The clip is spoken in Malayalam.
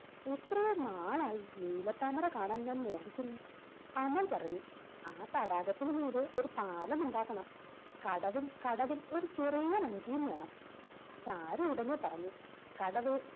എത്രയോ നാളായി നീലത്താമര കാണാൻ ഞാൻ മോഹിക്കുന്നു അമൽ പറഞ്ഞു ആ തടാകത്തിനു മീതെ ഒരു പാലം ഉണ്ടാക്കണം കടവും കടവിൽ ഒരു ചെറിയ വഞ്ചിയും വേണം ചാരു ഉടനെ പറഞ്ഞു കടവ്